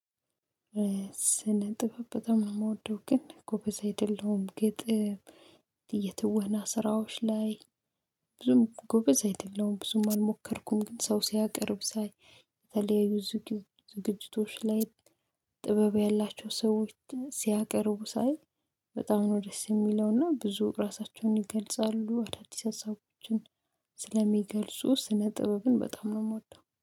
ስነ ጥበብ በጣም ነው የምወደው ግን ጎበዝ አይደለሁም ግጥም። የትወና ስራዎች ላይ ብዙም ጎበዝ አይደለሁም ብዙም አልሞከርኩም። ግን ሰው ሲያቀርብ ሳይ የተለያዩ ዝግጅቶች ላይ። ጥበብ ያላቸው ሰዎች ሲያቀርቡ ሳይ በጣም ነው ደስ የሚለውና ብዙ ራሳቸውን ይገልጻሉ አዳዲስ አሳቦችን። ስለሚገልጹ ስነ ጥበብን በጣም ነው የምወደው